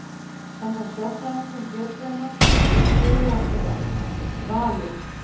Samkvæmt sérfræðingum Getrauna eru stuðlarnir eftirfarandi: Valur